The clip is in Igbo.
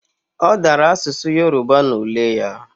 Odara asusu Yoruba na ule ya